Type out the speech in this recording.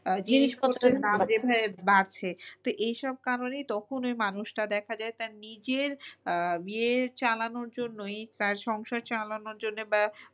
জিনিস পত্রের দাম যে ভাবে বাড়ছে তো এই সব কারণেই তখন ওই মানুষটা দেখা যায় তার নিজের আহ ইয়ে চালানোর জন্যই তার সংসার চালানোর জন্য বা